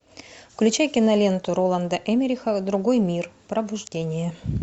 включай киноленту роланда эммериха другой мир пробуждение